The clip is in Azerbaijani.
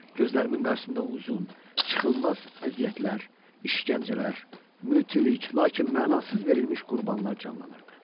Gözlərimin qarşısında uzun, çıxılmaz əziyyətlər, işgəncələr, mütilik, lakin mənasız verilmiş qurbanlar canlanırdı.